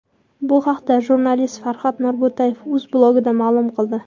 Bu haqda jurnalist Farhod Norbo‘tayev o‘z blogida ma’lum qildi .